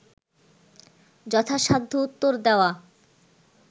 যথাসাধ্য উত্তর দেওয়া